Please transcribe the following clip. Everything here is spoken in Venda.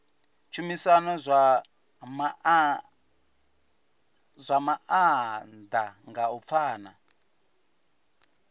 tshumisano zwa maanḓa nga u pfana